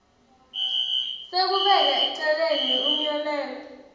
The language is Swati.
sekubeka eceleni umyalelo